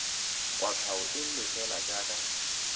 kwatlhao e nngwe fela jaaka